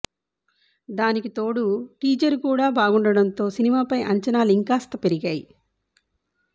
దానికి తోడు టీజర్ కూడ బాగుండటంతో సినిమాపై అంచనాలు ఇంకాస్త పెరిగాయి